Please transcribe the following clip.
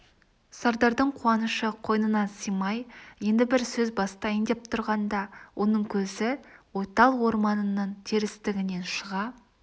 сардардың қуанышы қойнына сыймай енді бір сөз бастайын деп тұрғанда оның көзі ойтал орманының терістігінен шыға